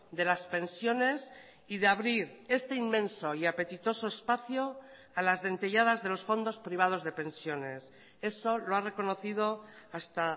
de las pensiones y de abrir este inmenso y apetitoso espacio a las dentelladas de los fondos privados de pensiones eso lo ha reconocido hasta